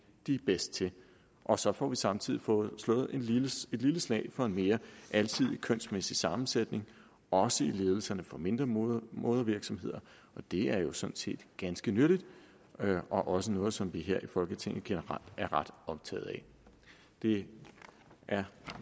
de er bedst til og så får vi samtidig slået et lille slag for en mere alsidig kønsmæssig sammensætning også i ledelserne for mindre modervirksomheder og det er jo sådan set ganske nyttigt og også noget som vi her i folketinget generelt er ret optaget af det er